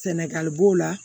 Sɛnɛgali b'o la